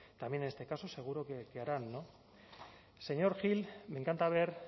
también en este caso seguro que harán señor gil me encanta ver